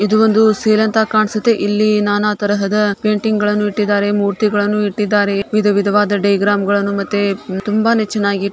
ಇದು ಒಂದು ಸೇಲ್ ಅಂತ ಕಾಣ್ಸತ್ತೆ ಇಲ್ಲಿ ನಾನಾ ತರಹದ ಪೇಂಟಿಂಗ್ ಗಳನ್ನು ಇಟ್ಟಿದ್ದಾರೆ ಮೂರ್ತಿಗಳನ್ನು ಇಟ್ಟಿದ್ದಾರೆ ವಿಧ ವಿದವಾದ ಡೈಗ್ರಾಮ್ ಗಳನ್ನು ಮತ್ತೆ ತುಂಬಾನೆ ಚೆನ್ನಾಗಿ